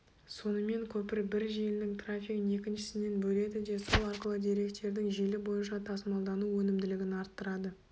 сонымен көпір бір желінің трафигін екіншісінен бөледі де сол арқылы деректердің желі бойынша тасымалдану өнімділігін арттырады